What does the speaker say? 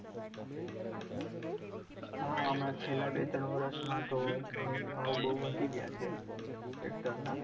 હા હમણાં છેલ્લા બે ત્રણ વર્ષમાં તો આહ ભાવ બહુ વધી ગયા છે. tractor ના.